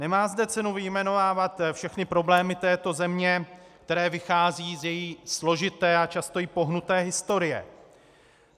Nemá zde cenu vyjmenovávat všechny problémy této země, které vycházejí z její složité a často i pohnuté historie.